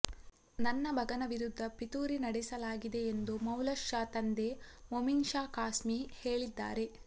ನನ್ನ ಮಗನ ವಿರುದ್ಧ ಪಿತೂರಿ ನಡೆಸಲಾಗಿದೆ ಎಂದು ಮೌಲಾನಾ ತಂದೆ ಮೋಮಿನ್ ಶಾ ಖಾಸ್ಮಿ ಹೇಳಿದ್ದಾರೆ